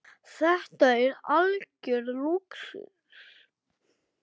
Þetta er algjör lúxus.